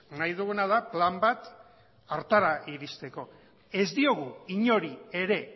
nahi duguna da plan bat ere hartarako iristeko ez diogu inori ere